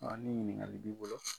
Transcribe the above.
Ɔ ni ɲininkali b'i bolo.